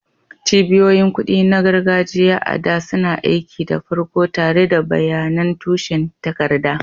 Cibiyoyin kuɗi na gargajiya, a da, suna aiki da farko tare da bayanan tushen takarda.